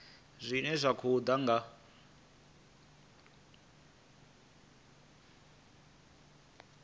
zwine zwa khou ḓa nga